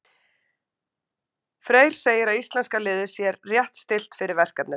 Freyr segir að íslenska liðið sér rétt stillt fyrir verkefnið.